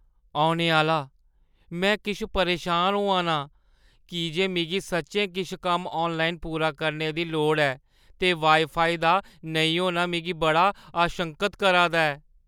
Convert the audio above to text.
औने आह्‌ला: "में किश परेशान होआ ना आं की जे मिगी सच्चैं किश कम्म आनलाइन पूरा करने दी लोड़ ऐ, ते वाई-फाई दा नेईं होना मिगी बड़ा आशंकत करा दा ऐ।"